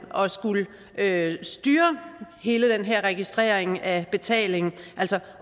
at skulle styre hele den her registrering af betalingen altså